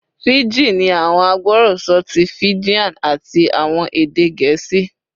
Fiji ni awọn agbọrọsọ ti Fijian ati awọn ede Gẹẹsi